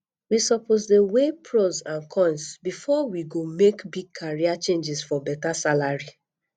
we suppose dey weigh pros and cons before we go make big career changes for beta salary